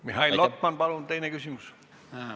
Mihhail Lotman, palun teine küsimus!